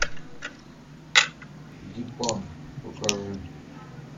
дипан покажи